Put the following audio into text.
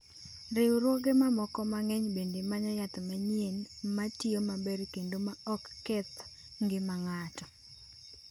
Riwruoge mamoko mang’eny bende manyo yath manyien ma tiyo maber kendo ma ok ketho ngima ng’ato.